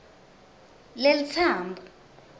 lelitsambo